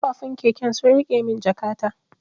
Kafufun keken sun rike mun jakata.